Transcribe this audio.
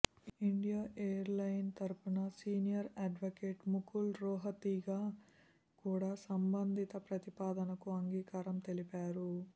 IndiGo airline తరఫున senior advocate Mukul Rohatgi కూడా సంబంధిత ప్రతిపాదనకు అంగీకారం తెలిపారు